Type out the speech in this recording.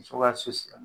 Muso ka so siri